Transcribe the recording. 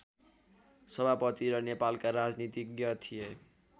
सभापति र नेपालका राजनीतिज्ञ थिए